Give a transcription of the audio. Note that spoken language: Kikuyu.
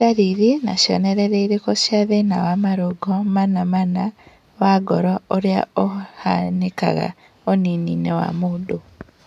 Nĩ ndariri na cionereria irĩkũ cia thĩna wa marũngo mana mana wa ngoro ũrĩa ũhanĩkaga ũnini-inĩ wa mũndũ?